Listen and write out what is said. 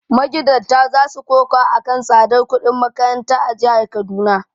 Magidanta za su koka a kan tsadar kudin makaranta a jihar Kaduna.